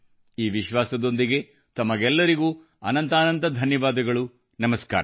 ಈ ವಿಶ್ವಾಸದೊಂದಿಗೆ ತಮಗೆಲ್ಲರಿಗೂ ಅತ್ಯಂತ ಧನ್ಯವಾದಗಳು ನಮಸ್ಕಾರ